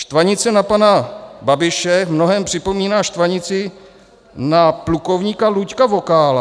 Štvanice na pana Babiše v mnohém připomíná štvanici na plukovníka Luďka Vokála.